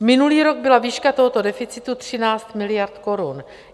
Minulý rok byla výška tohoto deficitu 13 miliard korun.